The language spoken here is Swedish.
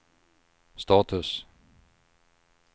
status